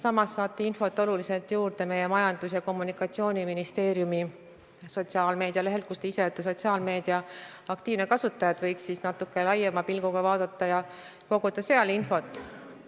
Infot saate oluliselt juurde ka meie Majandus- ja Kommunikatsiooniministeeriumi sotsiaalmeedia lehelt, mille aktiivne kasutaja te olete, nii et võiksite natuke laiema pilguga vaadata ja sealt infot koguda.